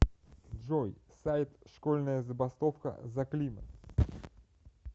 джой сайт школьная забастовка за климат